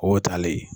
O taalen